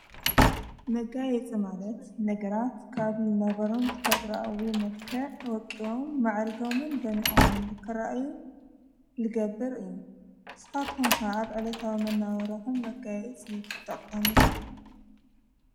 መጋይጽ ማለት ነገራት ካብልናበሮም ትፈጥረአዊ መልከ ወቂዎም ማዕሪጎምን ደኒዖምን ልከርአዩ ልገብር እዩ ሣቶምፋ ኣብ ዕለትዊመናበራሆም መጋይእፂይትጠቕምዶ?